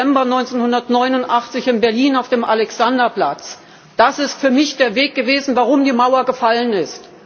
4. November 1989 in Berlin auf dem Alexanderplatz Das ist für mich der Weg gewesen, warum die Mauer gefallen ist.